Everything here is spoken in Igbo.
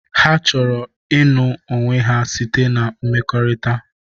Ha chọrọ ịnụ onwe ha site na mmekọrịta.